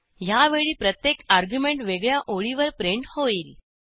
ह्यावेळी प्रत्येक अर्ग्युमेंट वेगळ्या ओळीवर प्रिंट होईल